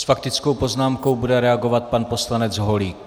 S faktickou poznámkou bude reagovat pan poslanec Holík.